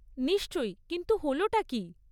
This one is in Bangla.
নিশ্চয়ই, কিন্তু হলটা কী?